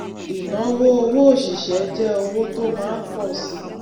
ìnáwó owó òṣìṣẹ jẹ owó tó máa ń pọ síi